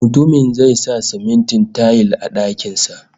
Mutumin zai sa simintin tayil a dakin sa